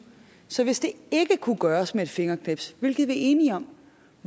så hvis det ikke kunne gøres med et fingerknips hvilket vi er enige om